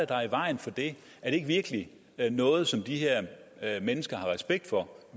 der i vejen for det er det ikke virkelig noget som de her mennesker har respekt for